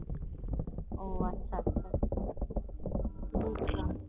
ও আচ্ছা আচ্ছা আচ্ছা বুঝলাম